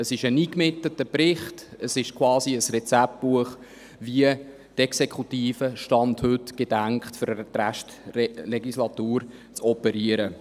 Es ist ein eingemitteter Bericht, es ist quasi ein Rezeptbuch dafür, wie die Exekutive gedenkt, für den Rest der Legislatur zu operieren.